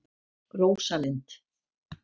Rósalind